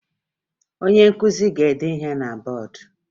Onye nkụzi ga-ede ihe na bọọdụ